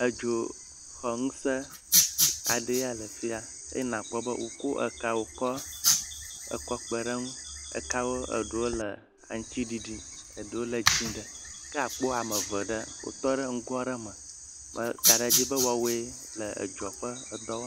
Edzoxɔŋueẽ aɖee ya le fi ya eye akpɔ be wokɔ ekawo kɔ kpe ɖe eŋu, ekawo eɖewo le aŋuti ɖiɖi eɖewo le dzɛ̃ ɖe, ke akpɔ ame eve ɖe wotɔ ɖe ŋgo aɖe me makaɖe dzi woawoe le edzoa ƒe ŋdɔ wɔm.